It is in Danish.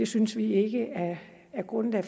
synes vi ikke er grundlag